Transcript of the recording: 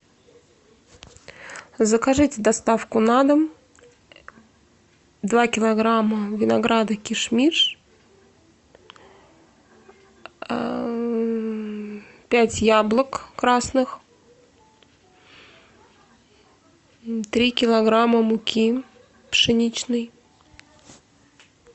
закажите доставку на дом два килограмма винограда киш миш пять яблок красных три килограмма муки пшеничной